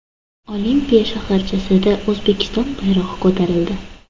Olimpiya shaharchasida O‘zbekiston bayrog‘i ko‘tarildi.